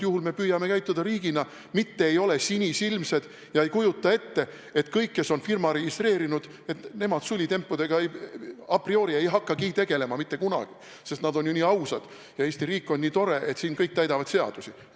Ja me püüame käituda riigina, mitte ei ole sinisilmsed ega kujuta ette, et kõik, kes on firma registreerinud, sulitempudega a priori ei hakka mitte kunagi tegelema, sest nad on ju nii ausad ja Eesti riik on nii tore, et siin kõik täidavad seadusi.